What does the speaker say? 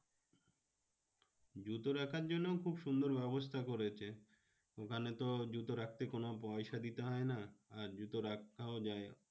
জুতো রাখার জন্যেও খুব সুন্দর ব্যবস্থা করেছে। ওখানে তো জুতো রাখতে কোনো পয়সা দিতে হয়না। আর জুতো রাখতেও জায়গা